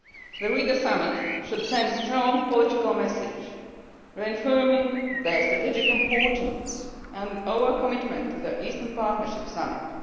The Riga Summit should send a strong political message reaffirming the strategic importance and our commitment to the Eastern Partnership Summit.